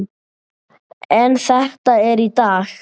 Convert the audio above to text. En þetta er í dag.